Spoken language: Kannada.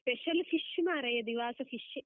Special fish ಮಾರಾಯ, ದಿವಾಸ fish ಶೆ.